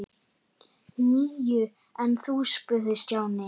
Níu, en þú? spurði Stjáni.